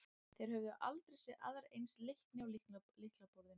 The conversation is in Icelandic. Þeir höfðu aldrei séð aðra eins leikni á lyklaborðinu.